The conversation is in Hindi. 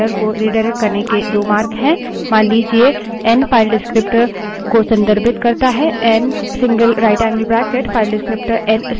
मान लीजिए एन file descriptor को संदर्भित करता है n> नरेशनएन single right angled bracket file descriptor n से file तक आउटपुट रिडाइरेक्ट करता है